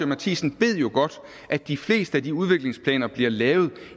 matthisen ved jo godt at de fleste af de udviklingsplaner der bliver lavet